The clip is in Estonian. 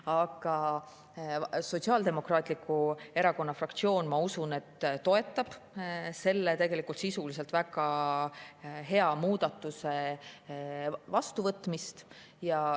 Aga Sotsiaaldemokraatliku Erakonna fraktsioon, ma usun, toetab selle tegelikult sisuliselt väga hea muudatuse vastuvõtmist.